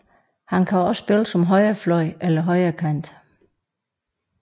Han kan også spille som højrefløj eller højrekant